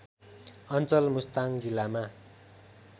अञ्चल मुस्ताङ जिल्लामा